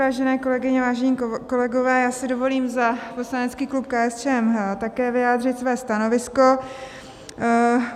Vážené kolegyně, vážení kolegové, já si dovolím za poslanecký klub KSČM také vyjádřit své stanovisko.